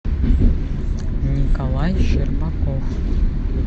николай щербаков